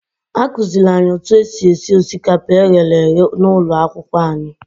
Akụziiri anyị otu esi esi osikapa e ghere eghe n'ụlọ akwụkwọ anyị.